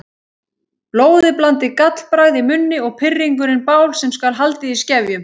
Blóðiblandið gallbragð í munni og pirringurinn bál sem skal haldið í skefjum.